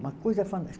Uma coisa